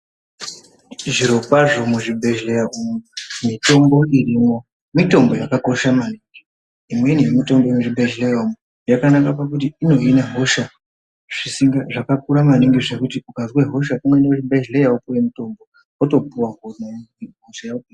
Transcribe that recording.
Zviro kwazvo muzvibhedhleya umu mitombo irimwo mitombo yakakosha maningi imweni yemitombo muzvibhedhleya umu yakanaka pakuti inohina hosha zvisinga zvakakura maningi zvekuti ukazwe hosha uneende kuzvibhedhleya wopuwe mutombo wotopuwa honaye hosha yo.